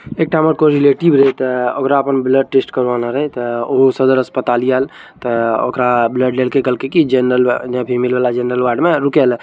इता में कोई रिलेटिव रहता है और आपन ब्लड टेस्ट करवाना रहता है और सदर हॉस्पिटल याल त ओकरा ब्लड लेके कहलइए की जनरल या फिर फीमेल जनरल वार्ड में रुके ला।